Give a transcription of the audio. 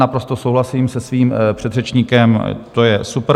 Naprosto souhlasím se svým předřečníkem, to je super.